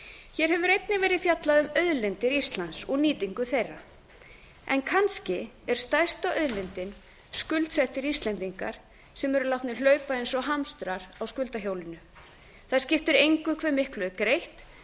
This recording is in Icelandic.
hér hefur einnig verið fjallað um auðlindir íslands og nýtingu þeirra en kannski er stærsta auðlindin skuldsettir íslendingar sem eru látnir hlaupa eins og hamstrar á skuldahjólinu það skiptir engu hve mikið er greitt